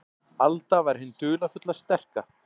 Alda var hin dularfulla, sterka.